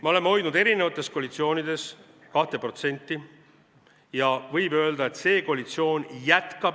Me oleme hoidnud erinevates koalitsioonides kaitsekulutusi 2%-l ja võib öelda, et see koalitsioon jätkab seda.